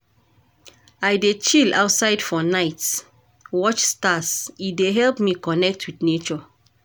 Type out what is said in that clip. I dey chill outside for night watch stars, e dey help me connect wit nature.